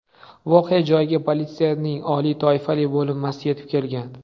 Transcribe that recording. Voqea joyiga politsiyaning oliy toifali bo‘linmasi yetib kelgan.